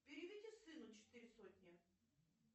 переведи сыну четыре сотни